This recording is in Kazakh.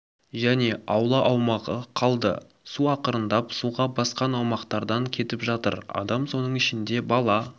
және аула аумағы қалды су ақырындап суға басқан аумақтардан кетіп жатыр адам соның ішінде бала